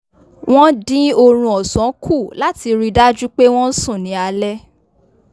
wọn din orun òsán kù láti ri dájú pé wọn sùn ni alé